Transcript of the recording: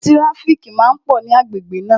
Tíráfíkì máa pò ní agbègbè náà